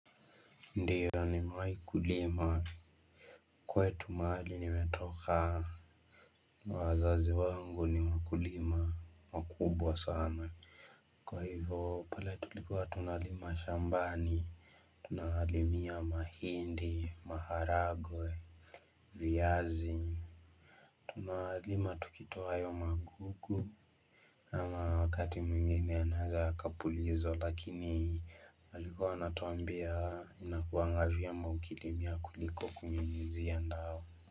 Ndiyo nimewahi kulima kwetu mahali nimetoka wazazi wangu ni mkulima wakubwa sana Kwa hivyo pale tulikuwa tunalima shambani Tunawalimia mahindi, maharagwe, viazi Tunalima tukitoa hayo magugu ama wakati mwingine anaeza akapuliza lakini alikuwa anatuambia inakuwa vyema ukilimia ya kuliko kunyunyizia ya dawa.